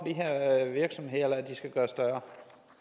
her virksomheder er de skal gøres større